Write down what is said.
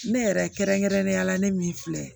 Ne yɛrɛ kɛrɛnkɛrɛnnenya la ne min filɛ